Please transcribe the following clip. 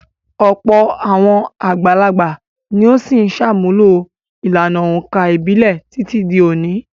Ọ̀pọ̀ àwọn àgbàlagbà ni ó ṣì ń ṣàmúlò ìlànà òǹkà ìbílẹ̀ títí di òní.